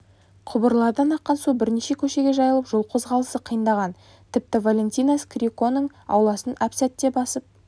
құбырлардан аққан су бірнеше көшеге жайылып жол қозғалысы қиындаған тіпті валентина скирконың ауласын әп сәтте басып